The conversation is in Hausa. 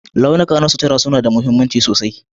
Launuka na sutura suna da mahimmanci sosai